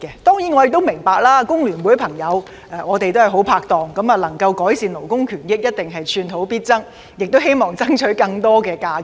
當然，我亦明白若能夠改善勞工權益，我們的好拍檔工聯會朋友必定寸土必爭，希望爭取更多假期。